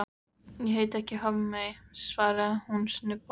Ég heiti ekki Hafmey, svarar hún snubbótt.